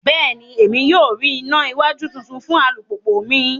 Bẹẹni, Emi yoo rí ìnà iwájú títún fún alupupu mí